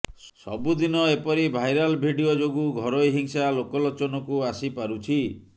ସବୁଦିନ ଏପରି viral video ଯୋଗୁଁ ଘରୋଇ ହିଂସା ଲୋକଲୋଚନକୁ ଆସିପାରୁଛି